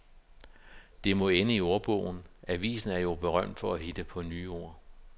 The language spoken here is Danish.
Det må ende i ordbogen, avisen er jo berømt for at hitte på nye ord.